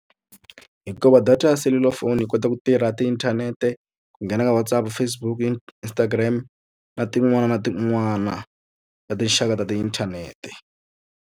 Hikuva data ya selulafoni yi kota ku tirha tiinthanete, ku nghena ka WhatsApp, Facebook, Instagram na tin'wana na tin'wana ta tinxaka ta tiinthanete.